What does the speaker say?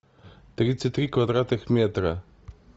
тридцать три квадратных метра